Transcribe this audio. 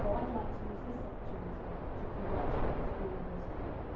I would like to use this opportunity to congratulate all of those people.